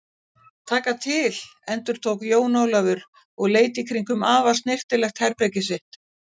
Taka til endurtók Jón Ólafur og leit í kringum afar snyrtilegt herbergið sitt.